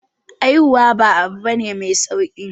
Haihuwa ba abu bane mai sauki